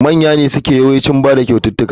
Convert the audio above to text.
Manya ne suke yawancin bada kyauta.